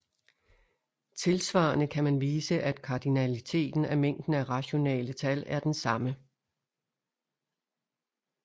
Tilsvarende kan man vise at kardinaliteten af mængden af rationale tal er den samme